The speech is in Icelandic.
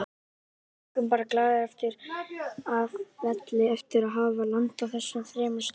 Við göngum bara glaðir af velli eftir að hafa landað þessum þremur stigum.